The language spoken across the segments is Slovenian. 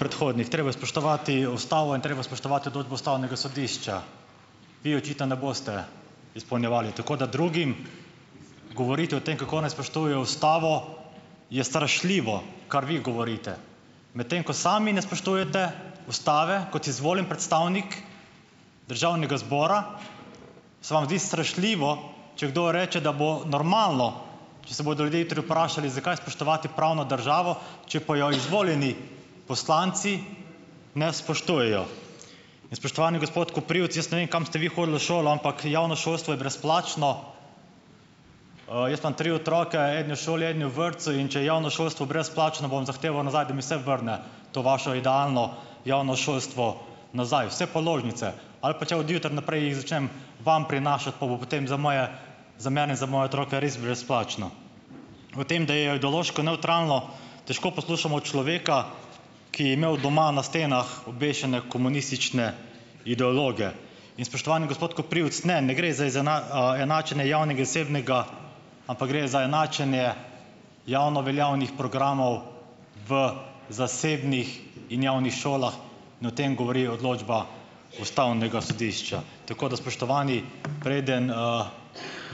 Predhodnik, treba je spoštovati ustavo in treba je spoštovati odločbo ustavnega sodišča. Vi očitno ne boste izpolnjevali. Tako da drugim govoriti o tem, kako naj spoštujejo ustavo je strašljivo, kar vi govorite. Medtem ko sami ne spoštujete ustave kot izvoljeni predstavnik državnega zbora, se vam zdi strašljivo, če kdo reče, da bo normalno, če se bodo ljudje jutri vprašali, zakaj spoštovati pravno državo, če pa jo izvoljeni poslanci ne spoštujejo. In spoštovani gospod Koprivc, jaz ne vem, kam ste vi hodili v šolo, ampak javno šolstvo je brezplačno. Jaz imam tri otroke, eden je v šoli, eden je v vrtcu, in če je javno šolstvo brezplačno, bom zahteval nazaj, da mi vse vrne to vašo idealno javno šolstvo, nazaj vse položnice, ali pa če od jutri naprej začnem vam prinašati, pa bo potem za moje, za mene, za moje otroke res brezplačna. V tem, da je ideološko nevtralno, težko poslušamo človeka, ki je imel doma na stenah obešene komunistične ideologe. In spoštovani gospod Koprivc, ne, ne gre za enačenje javnega in zasebnega, ampak gre za enačenje javno veljavnih programov v zasebnih in javnih šolah in o tem govori odločba ustavnega sodišča. Tako da ... Spoštovani, preden,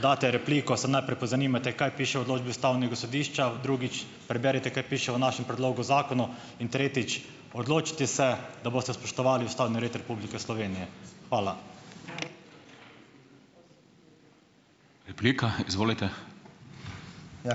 daste repliko, se najprej pozanimajte, kaj piše v odločbi ustavnega sodišča. Drugič, preberite, kaj piše v našem predlogu o zakonu. In tretjič, odločite se, da boste spoštovali ustavni red Republike Slovenije. Hvala.